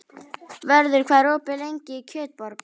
Vörður, hvað er opið lengi í Kjötborg?